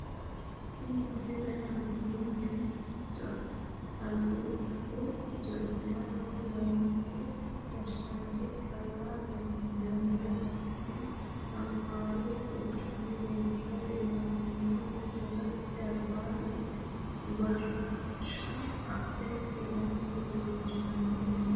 tini misile albihu itiyphiyaaho layeenki gashshanchi kalaa demeqe mokkonninhu amaaru qoqqowi giddo ilaminohu dagate albaanni baraarsha adhe higanna leellishshanno misileeti